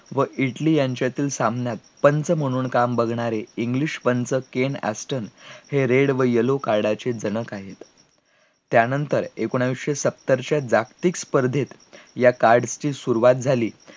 व इटली यांच्यातील सामन्यात पंच म्हणून काम बघणारे इंग्लिशपंत केन ऍस्टन हे red व yellow card चे जनक आहेत, त्यानंतर एकोणीसशे सत्तर च्या जागतिक स्पर्धेत या card ची सुरवात झाली